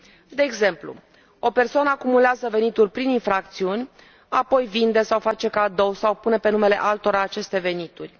De exemplu o persoană acumulează venituri prin infracțiuni, apoi vinde sau face cadou sau pune pe numele altora aceste venituri.